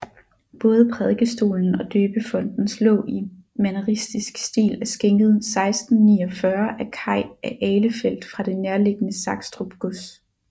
Både Prædikestolen og døbefontens låg i manieristisk stil er skænket 1649 af Kai af Ahlefeldt fra det nærliggende Sakstrup gods